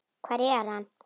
Hvar er hann?